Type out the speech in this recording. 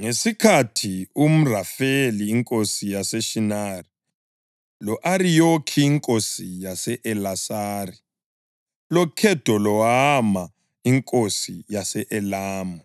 Ngesikhathi u-Amrafeli inkosi yaseShinari, lo-Ariyoki inkosi yase-Elasari, loKhedolawoma inkosi yase-Elamu